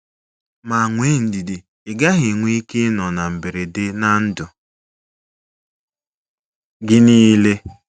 Ma nwee ndidi - ị gaghị enwe ike ịnọ na mberede na ndụ gị niile.